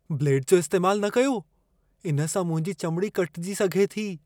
Blade जो इस्तैमालु न कयो। इन सां मुंहिंजी चमिड़ी कटिजी सघे थी।